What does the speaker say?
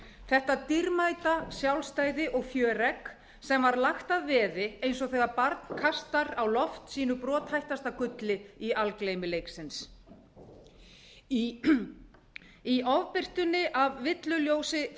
þetta dýrmæta sjálfstæði og fjöregg sem var lagt að veði eins og þegar barn kastar á loft sínu brothættasta gulli í algleymi leiksins í ofbirtunni af villuljósi